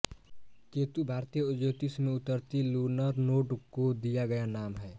केतु भारतीय ज्योतिष में उतरती लूनर नोड को दिया गया नाम है